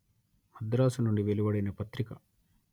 మద్రాసు నుండి వెలువడిన పత్రిక